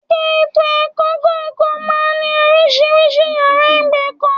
Ẹ̀ka ètò ẹ̀kọ́ kọ̀ọ̀kan máa ń ní oríṣiríṣi yàrá ìgbẹ̀kọ̀